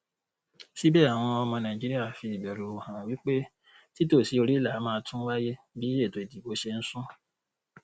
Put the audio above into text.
síbẹ àwọn ọmọ nàìjíríà fi ìbẹrù hàn wí pé títòsíoríìlà máa tún wáyé bí ètòìdìbò ṣe ń sún